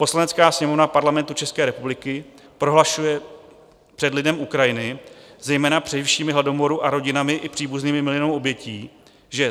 Poslanecká sněmovna Parlamentu České republiky prohlašuje před lidem Ukrajiny, zejména přeživšími hladomoru a rodinami i příbuznými miliónů obětí, že: